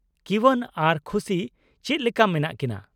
-ᱠᱤᱣᱟᱱ ᱟᱨ ᱠᱷᱩᱥᱤ ᱪᱮᱫ ᱞᱮᱠᱟ ᱢᱮᱱᱟᱜ ᱠᱤᱱᱟᱹ ?